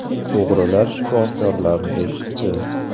O‘g‘rilar shifokorlarni eshitdi.